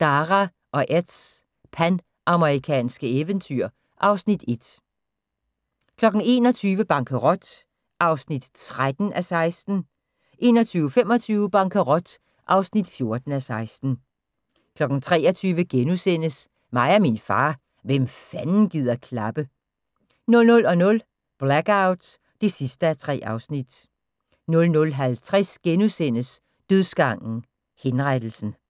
Dara og Eds panamerikanske eventyr (Afs. 1) 21:00: Bankerot (13:16) 21:25: Bankerot (14:16) 23:00: Mig og min far – hvem fanden gider klappe? * 00:00: Blackout (3:3) 00:50: Dødsgangen - Henrettelsen *